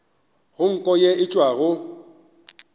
go nko ye e tšwago